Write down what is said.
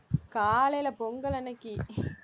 காலையில பொங்கல் அன்னைக்கு